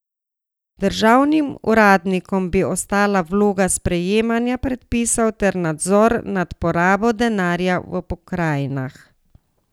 Državnim uradnikom bi ostala vloga sprejemanja predpisov ter nadzor nad porabo denarja v pokrajinah.